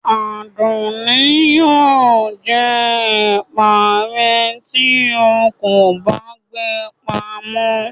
Adunni yio jẹ ẹpa re ti o kọ ba gbe pàmọ